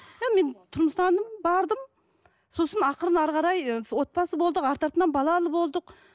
иә мен тұрмыстандым бардым сосын ақырын әрі қарай ы отбасы болдық арты артынан балалы болдық